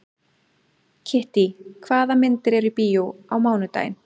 Kittý, hvaða myndir eru í bíó á mánudaginn?